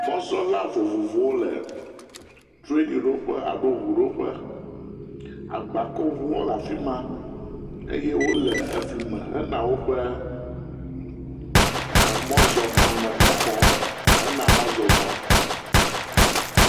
Mɔzɔla vovovowo le trianiɖoƒe alo ŋuɖoƒe, agbakɔŋuwo hã le afi ma eye wole efli me heyina woƒe emɔzɔgbalẽxɔƒe hene emɔ zɔzɔ.